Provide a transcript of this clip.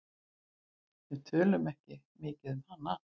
Við tölum ekki mikið um hana.